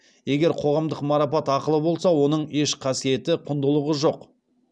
егер қоғамдық марапат ақылы болса оның еш қасиеті құндылығы жоқ